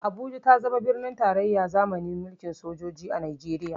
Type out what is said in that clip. Abuja ta zama birnin tarayyane zamani mulkin sojoji a Najeriya.